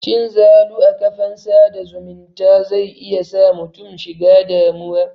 Cin zalu a kafan sa da zumunta zai iya sa mutum shiga damuwa.